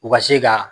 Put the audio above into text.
U ka se ka